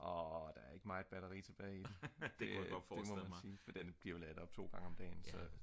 der er ikke meget batteri tilbage i den det må jeg sige den bliver opladt 2 gange om dagen